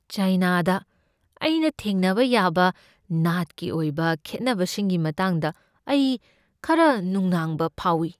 ꯆꯥꯏꯅꯥꯗ ꯑꯩꯅ ꯊꯦꯡꯅꯕ ꯌꯥꯕ ꯅꯥꯠꯀꯤ ꯑꯣꯏꯕ ꯈꯦꯠꯅꯕꯁꯤꯡꯒꯤ ꯃꯇꯥꯡꯗ ꯑꯩ ꯈꯔ ꯅꯨꯡꯅꯥꯡꯕ ꯐꯥꯎꯏ꯫